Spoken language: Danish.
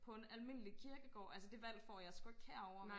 på en almindelig kirkegård altså det valg får jeg sku ikke herovre vel